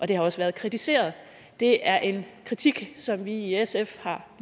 det har også været kritiseret og det er en kritik som vi i sf har